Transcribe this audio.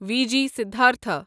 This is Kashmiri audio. V G Siddhartha